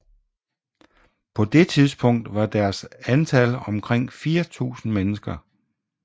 På det tidspunkt var deres antal omkring 4000 mennesker